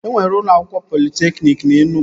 E nwere ụlọ akwụkwọ politekniki na Enugwu